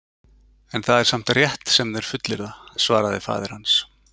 En það er samt rétt sem þeir fullyrða, svaraði faðir hans.